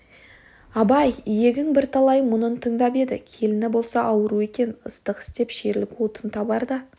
абай иегің бірталай мұнын тыңдап еді келіні болса ауру екен ыстық істеп ішерлік отын табар да